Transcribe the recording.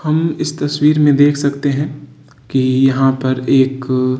हम इस तस्वीर में देख सकते है कि यहाँ पर एक --